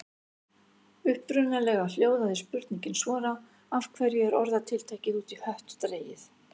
Upprunalega hljóðaði spurningin svona: Af hverju er orðatiltækið út í hött dregið?